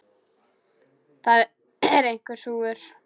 Það er einhver súgur.